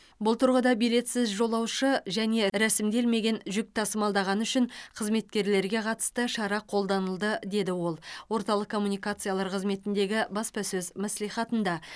бұл тұрғыда билетсіз жолаушы және рәсімделмеген жүк тасымалдағаны үшін қызметкерлерге қатысты шара қолданылды деді ол орталық коммуникациялар қызметіндегі баспасөз мәслихатында